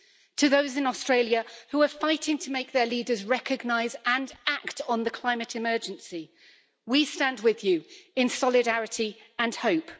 To those in Australia who are fighting to make their leaders recognise and act on the climate emergency, we stand with you in solidarity and hope.